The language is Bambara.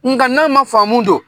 Nka n'an ma faamu don?